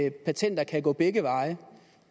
at patenter kan gå begge veje